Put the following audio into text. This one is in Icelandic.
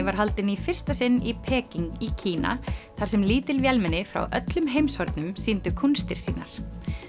var haldin í fyrsta sinn í Peking í Kína þar sem lítil vélmenni frá öllum heimshornum sýndu kúnstir sínar